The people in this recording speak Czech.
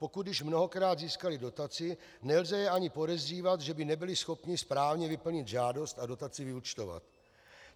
Pokud již mnohokrát získali dotaci, nelze je ani podezřívat, že by nebyli schopni správně vyplnit žádost a dotaci vyúčtovat.